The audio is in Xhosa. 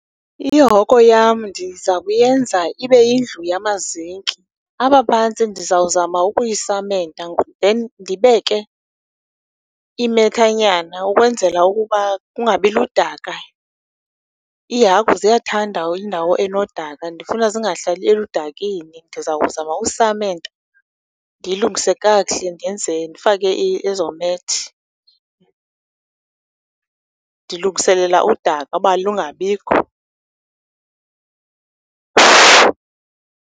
Ihoko yam ndiza kuyenza ibe yindlu yamazinki. Apha phantsi ndizawuzama ukuyisamenta then ndibeke imethanyana ukwenzela ukuba kungabiludaka. Iihagu ziyathanda indawo enodaka, ndifuna zingahlali eludakeni, ndizawuzama usamenta ndiyilungise kakhule ndenze, ndifake ezoo methi. Ndilungiselela udaka uba lungabikho.